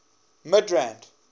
midrand